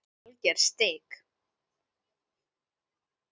Alger steik.